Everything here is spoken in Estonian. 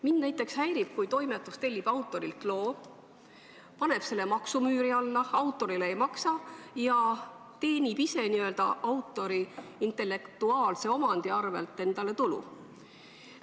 Mind näiteks häirib, kui toimetus tellib autorilt loo, paneb selle maksumüüri alla, autorile ei maksa ja teenib ise n-ö autori intellektuaalse omandi arvel endale tulu.